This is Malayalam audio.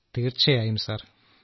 രാജേഷ് പ്രജാപതി തീർച്ചയായും സർ